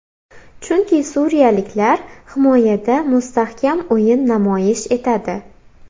Chunki suriyaliklar himoyada mustahkam o‘yin namoyish etadi.